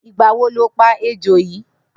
Nigbà wò ló pà éjó yi?